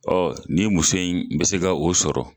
Ɔɔ nin muso in be se ka o sɔrɔ